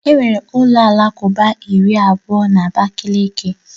Enwere ụlọ alakụba iri na abụọ na Abakaliki